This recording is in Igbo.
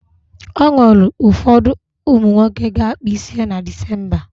E nwere ụfọdụ ụmụ nwoke ga-akpa isi ha na Dịsemba.